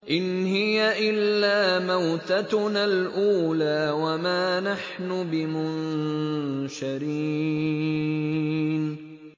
إِنْ هِيَ إِلَّا مَوْتَتُنَا الْأُولَىٰ وَمَا نَحْنُ بِمُنشَرِينَ